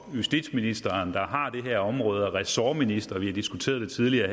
justitsministeren der har det her område og er ressortminister vi har diskuteret tidligere